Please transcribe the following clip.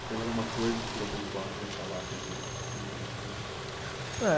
Tem mais alguma coisa que você queria pontuar, queria falar aqui que eu não, eu não perguntei? Ah